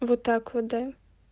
вот так вот да